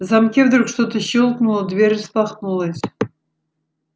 в замке вдруг что-то щёлкнуло дверь распахнулась